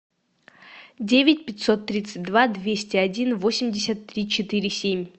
девять пятьсот тридцать два двести один восемьдесят три четыре семь